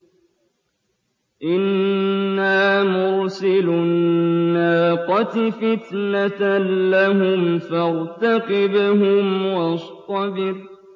إِنَّا مُرْسِلُو النَّاقَةِ فِتْنَةً لَّهُمْ فَارْتَقِبْهُمْ وَاصْطَبِرْ